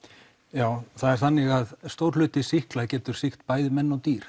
já það er þannig að stór hluti sýkla geta sýkt bæði menn og dýr